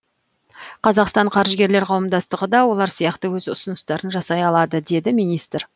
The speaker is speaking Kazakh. қазақстан қаржыгерлер қауымдастығы да олар сияқты өз ұсыныстарын жасай алады деді министр